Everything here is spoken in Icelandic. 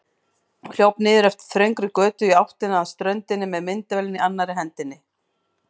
Hljóp niður eftir þröngri götu í áttina að ströndinni með myndavélina í annarri hendinni.